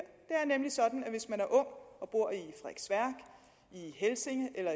er nemlig sådan at hvis man er ung og bor i helsinge eller